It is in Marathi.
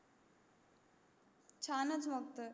छानच मग तर